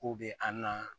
K'u bɛ a na